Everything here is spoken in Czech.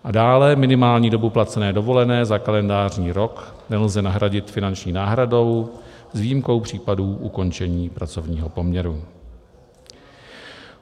A dále: minimální dobu placené dovolené za kalendářní rok nelze nahradit finanční náhradou s výjimkou případů ukončení pracovního poměru.